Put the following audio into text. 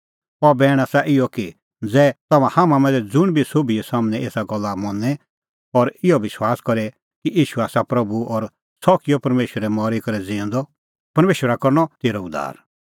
अह बैण आसा इहअ कि ज़ै तम्हां मांझ़ै ज़ुंण बी सोभी सम्हनै एसा गल्ला मनें और इहअ विश्वास करे कि ईशू आसा प्रभू और सह किअ परमेशरै मरी करै ज़िऊंदअ परमेशरा करनअ तेरअ उद्धार